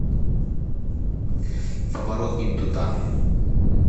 поворот не туда